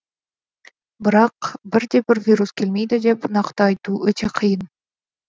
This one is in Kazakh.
бірақ бірде бір вирус келмейді деп нақты айту өте қиын